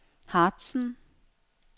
Harzen